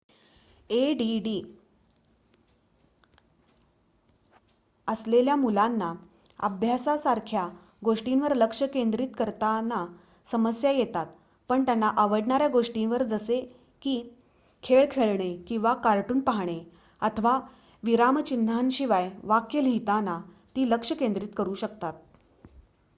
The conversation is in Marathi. add असलेल्या मुलांना अभ्यासासारख्या गोष्टींवर लक्ष केंद्रित करताना समस्या येतात पण त्यांना आवडणाऱ्या गोष्टींवर जसे की खेळ खेळणे किंवा कार्टून पाहणे अथवा विरामचिन्हांशिवाय वाक्य लिहिताना ती लक्ष केंद्रित करू शकतात